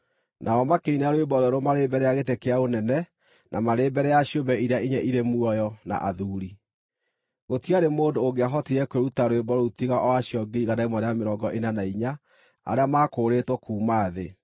Nao makĩina rwĩmbo rwerũ marĩ mbere ya gĩtĩ kĩa ũnene, na marĩ mbere ya ciũmbe iria inya irĩ muoyo, na athuuri. Gũtiarĩ mũndũ ũngĩahotire kwĩruta rwĩmbo rũu tiga o acio 144,000 arĩa maakũũrĩtwo kuuma thĩ.